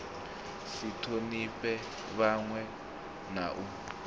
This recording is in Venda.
si thonifhe vhanwe na u